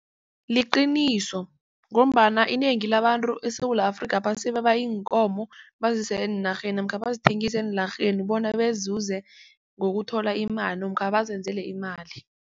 Liqiniso ngombana inengi labantu eSewula Afrika iinkomo bazise eenarheni namkha bazithengise eenlarheni bona bezuze ngokuthola imali namkha bazenzele imali.